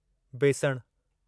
बेसणु